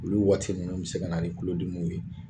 Olu waati nunnu bi se ka na ni kulo dimiw ye